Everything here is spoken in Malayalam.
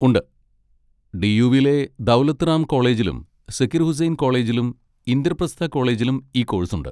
ഉണ്ട്, ഡി. യു.വിലെ ദൗലത്ത് റാം കോളേജിലും സക്കീർ ഹുസൈൻ കോളേജിലും ഇന്ദ്രപ്രസ്ഥ കോളേജിലും ഈ കോഴ്സുണ്ട്.